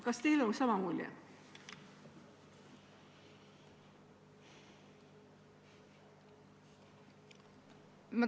Kas teil on sama mulje?